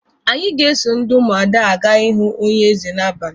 Anyị ga-eso ndị Ụmụada aga ịhụ onye eze n'abalị